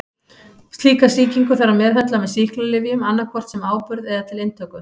Slíka sýkingu þarf að meðhöndla með sýklalyfjum annað hvort sem áburð eða til inntöku.